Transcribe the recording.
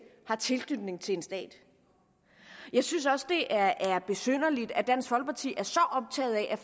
har tilknytning til en stat jeg synes også det er besynderligt at dansk folkeparti er så optaget af